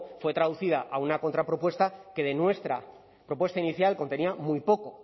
fue traducida a una contrapropuesta que de nuestra propuesta inicial contenía muy poco